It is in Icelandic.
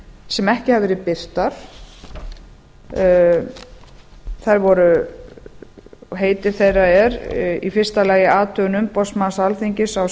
sem ekki hafa verið birtar heiti þeirra er í fyrsta lagi athugun umboðsmanns alþingis á